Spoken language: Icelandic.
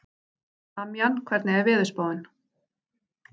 Damjan, hvernig er veðurspáin?